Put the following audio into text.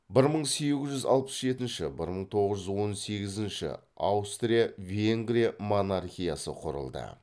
бір мың сегіз жүз алпыс жетінші бір мың тоғыз жүз он сегізінші аустрия венгрия монархиясы құрылды